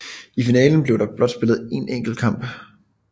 I finalen bliver der blot spillet én enkelt kamp